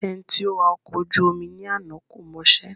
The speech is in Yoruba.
Ẹni tí ó wà ọkọ̀ ojú omi ní àná kò mọṣẹ́